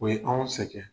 O ye anw sɛgɛn